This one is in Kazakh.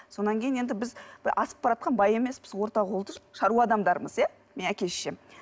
содан кейін енді біз асып бараатқан бай емеспіз орта қолды шаруа адамдармыз иә менің әке шешем